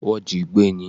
Wọ́n jí i gbé ní.